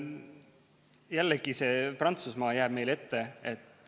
Jällegi, Prantsusmaa jääb meile ette.